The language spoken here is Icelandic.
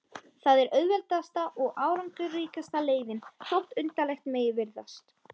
Það er auðveldasta og árangursríkasta leiðin, þótt undarlegt megi virðast.